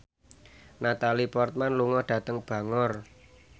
Natalie Portman lunga dhateng Bangor